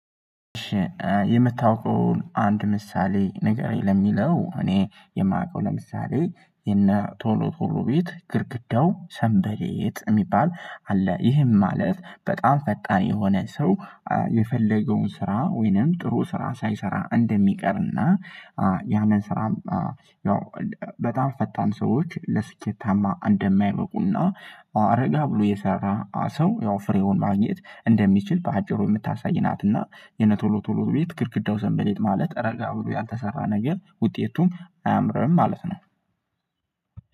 የምታውቀውን አንድ ምሳሌ ንገረኝ ለሚለው እኔ የማውቀው ለምሳሌ የነ ቶሎ ቶሎ ቤት ግድግዳው ሰንበሌጥ የሚባል አለ። ይህም ማለት በጣም ፈጣን የሆነ ሰው። የፈለገውን ስራ ወይንም ጥሩ ስራ ሳይሰራ እንደሚቀርና ያንን ስራ። ያው በጣም ፈጣን ሰዎች ለስኬታማ እንደማይበቁና እ ረጋ ብሎ የሰራ ሰው ያው ፍሬውን ማግኘት እንደሚችል በአጭሩ የምታሳይ ናት። እና የነቶሎ ቶሎ ቤት ግድግዳው ሰንበሌጥ ማለት ረጋ ብሎ ያልተሰራ ነገር ውጤቱም አያምርም ማለት ነው።